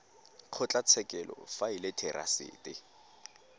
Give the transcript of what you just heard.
kgotlatshekelo fa e le therasete